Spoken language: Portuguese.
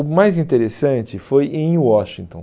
O mais interessante foi em Washington.